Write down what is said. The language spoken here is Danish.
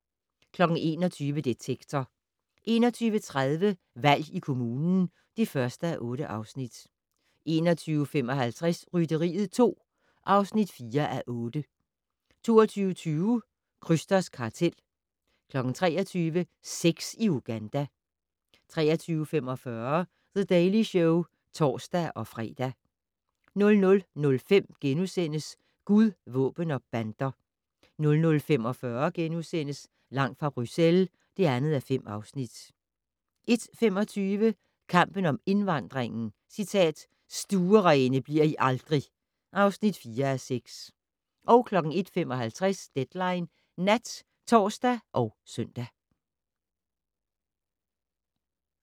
21:00: Detektor 21:30: Valg i kommunen (1:8) 21:55: Rytteriet 2 (4:8) 22:20: Krysters kartel 23:00: Sex i Uganda 23:45: The Daily Show (tor-fre) 00:05: Gud, våben og bander * 00:45: Langt fra Bruxelles (2:5)* 01:25: Kampen om indvandringen - "Stuerene bliver I aldrig!" (4:6) 01:55: Deadline Nat (tor og søn)